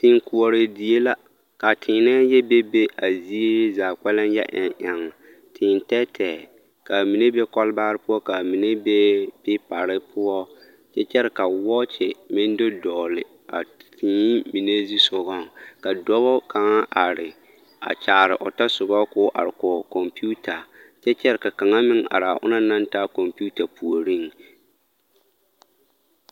Teekoɔre die la ka a teenɛɛ yɔ bebe a zie zaa kpɛlɛŋ yɔ eŋ eŋ tee tɛɛtɛɛ ka a mine be kɔlbaare poɔ ka a mine be peepare poɔ kyɛ kyɛre ka wɔɔkye meŋ do dɔgle a tee mine zu sogaŋ ka dɔba kaŋa are a kyaare o tɔsoba ka o are kɔge computer kyɛ kyɛre ka kaŋa meŋ are a o naŋ are a computer puoriŋ.